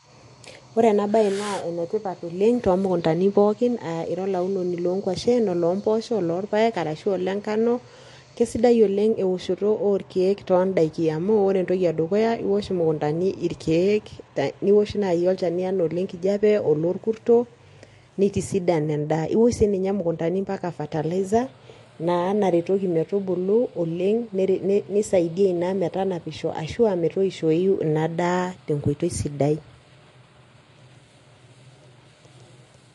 Ore eena baye naa enetipat oleng tomukundani pookin aah iira olaunoni lorpayek, oloomboosho olonkuashen arashu olengano, kaisidai oleng eoshoto orkeek ton'daiki ang. Amuu oore entoki edukuya iosh naaji imukundani irkeek iosh olchani liijo olenkijape, olokurto, neitisidan en'da. Iosh niinye imukundani mpaka fertilizer naa naretoki metubulu oleng', neisaidia iina metanapisho arashu metoishou iina daa tenkoitoi sidai.